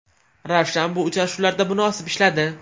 Ravshan bu uchrashuvlarda munosib ishladi.